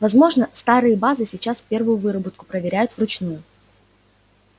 возможно старые базы сейчас первую выработку проверяют вручную